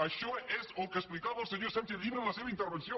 això és el que explicava el senyor sánchez llibre en la seva intervenció